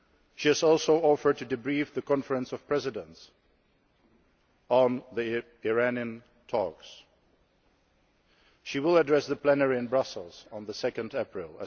Ukraine. She has also offered to debrief the Conference of Presidents on the Iranian talks, and she will address the plenary in Brussels on 2